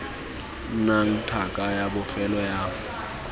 nnang tlhaka ya bofelo ya